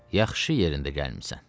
yaxşı yerində gəlmisən.